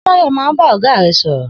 S̩e Báyò̩ máa ń bá ò̩gá rè̩ sò̩rò̩?